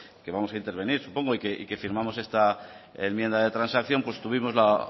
que vamos a intervenir supongo y que firmamos esta enmienda de transacción pues tuvimos la